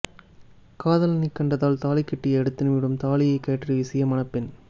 காதலனைக் கண்டதால் தாலிக்கட்டிய அடுத்த நிமிடம் தாலியை கழற்றி வீசிய மணப்பெண்